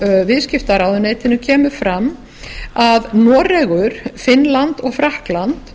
frá viðskiptaráðuneytinu kemur fram að noregur finnland og frakkland